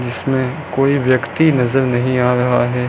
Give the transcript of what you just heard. जिसमें कोई व्यक्ति नजर नहीं आ रहा है।